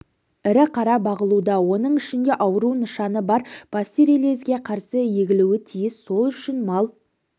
ірі қара бағылуда оның ішінде ауру нышаны бар пастереллезге қарсы егілуі тиіс сол үшін мал